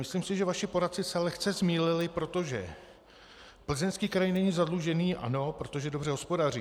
Myslím si, že vaši poradci se lehce zmýlili, protože Plzeňský kraj není zadlužený, ano, protože dobře hospodaří.